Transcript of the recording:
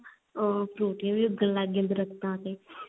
ਅh ਫਰੂਟੀਆਂ ਵੀ ਉਗਣ ਲੱਗ ਗਾਈਆਂ ਦਰਖਤਾਂ ਤੇ